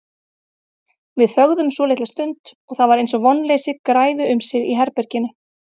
Við þögðum svolitla stund og það var eins og vonleysi græfi um sig í herberginu.